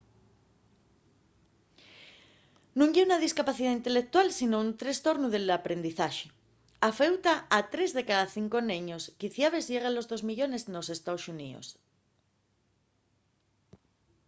nun ye una discapacidá inteleutual sinón un trestornu del aprendizaxe; afeuta a 3 de cada 5 neños quiciabes llegue a los 2 millones nos ee.xx.